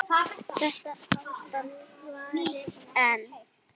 Þetta ástand varir enn.